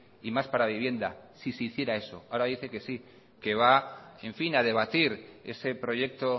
y más para vivienda si se hiciera eso ahora dice que sí que va en fina a debatir ese proyecto